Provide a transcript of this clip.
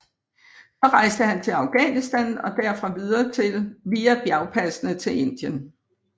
Så rejste han til Afghanistan og derfra via bjergpassene til Indien